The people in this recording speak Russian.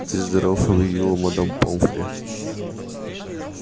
ты здоров объявила мадам помфри